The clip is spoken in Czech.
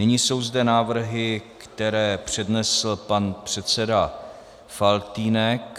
Nyní jsou zde návrhy, které přednesl pan předseda Faltýnek.